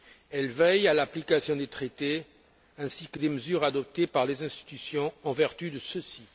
Elle veille à l'application des Traités ainsi que des mesures adoptées par les institutions en vertu de ceux ci.